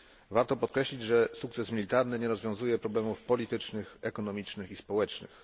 Warto podkreślić, że sukces militarny nie rozwiązuje problemów politycznych, ekonomicznych i społecznych.